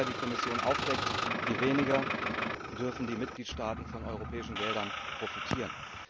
Je mehr Fehler die Kommission aufdeckt, desto weniger dürfen die Mitgliedstaaten von europäischen Geldern profitieren.